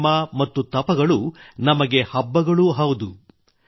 ಸಂಯಮ ಮತ್ತು ತಪಗಳು ನಮಗೆ ಹಬ್ಬಗಳೂ ಹೌದು